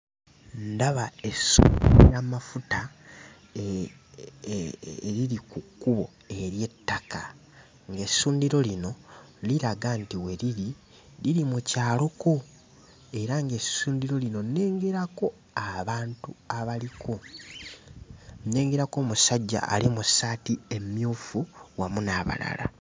Ndaba essundiro ly'amafuta eriri ku kkubo ery'ettaka, ng'essundiro lino liraga nti we liri, liri mu kyaloko era ng'essundiro lino nnengerako abantu abaliko. Nnengerako omusajja ali mu ssaati emmyufu wamu n'abalala.